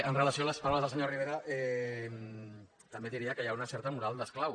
amb relació a les paraules del senyor rivera també diria que hi ha una certa moral d’esclau